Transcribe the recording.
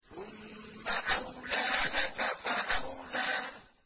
ثُمَّ أَوْلَىٰ لَكَ فَأَوْلَىٰ